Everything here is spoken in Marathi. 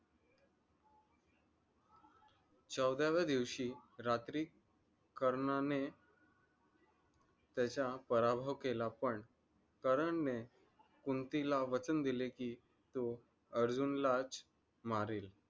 चौदाव्या दिवशी रात्री कर्णाने त्याजा पराभव केला. पण करण ने कुंतीला वचन दिले कि तो अर्जुन ला मारेल.